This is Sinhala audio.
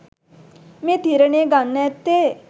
මේ තීරණය ගන්න ඇත්තේ